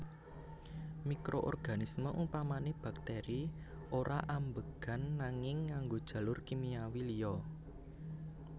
Mikroorganisme upamané bakteri ora ambegan nanging ngganggo jalur kimiawi liya